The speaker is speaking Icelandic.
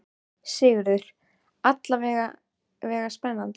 Sigurður: Alla vega spennandi?